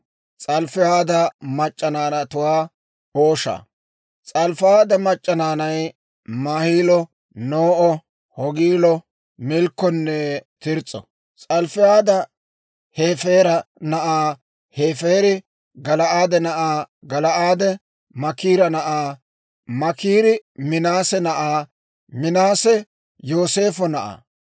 S'alofihaada mac'c'a naanay Maahilo, No'o, Hoogilo, Milkkonne Tirs's'o. S'alofihaad Hefeera na'aa; Hefeeri Gala'aade na'aa; Gala'aade Maakira na'aa; Maakiri Minaase na'aa; Minaase Yooseefo na'aa.